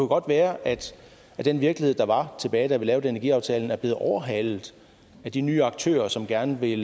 godt være at den virkelighed der var da vi lavede energiaftalen er blevet overhalet af de nye aktører som gerne vil